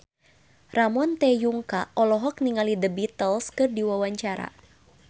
Ramon T. Yungka olohok ningali The Beatles keur diwawancara